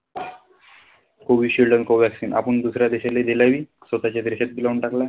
COVISHIELD shield आणि COVACCINE आपण दुसऱ्या देशाला देलं बी, स्वतःच्या देशात बी लावून टाकलं.